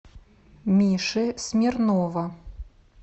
миши смирнова